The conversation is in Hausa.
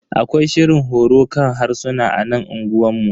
Akwai shirin horo kan harsuna a nan unguwanmu.